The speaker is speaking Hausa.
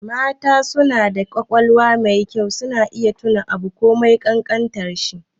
Mata suna da ƙwaƙwalwa mai kyau, suna iya tuna abu komai ƙanƙantar shi.